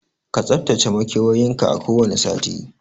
Ka tsaftace makewayin ka a kowane sati